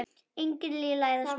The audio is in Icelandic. Engin lygi læðast að mér.